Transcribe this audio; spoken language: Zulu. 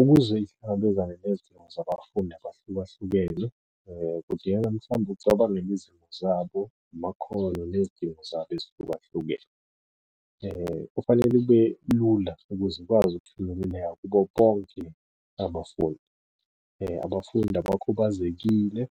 Ukuze nezidingo zabafundi abahlukahlukene kudingeka mhlawumbe ucabangela izimo zabo, amakhono, nezidingo zabo ezihlukahlukene. Kufanele ube lula ukuze ikwazi ukufinyeleleka kubo bonke abafundi. Abafundi abakhubazekile,